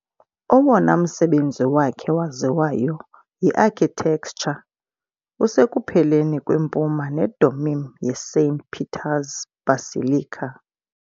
Owona msebenzi wakhe waziwayo y iarchitecture usekupheleni kwempuma nedomeem yeSaint Peter's Basilica.